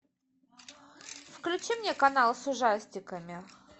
включи мне канал с ужастиками